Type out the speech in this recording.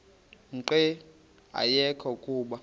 nqe ayekho kuba